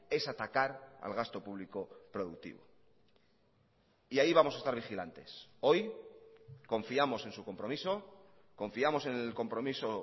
es atacar al gasto público productivo y ahí vamos a estar vigilantes hoy confiamos en su compromiso confiamos en el compromiso